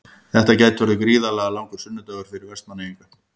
Þetta gæti orðið gríðarlega langur sunnudagur fyrir Vestmannaeyinga.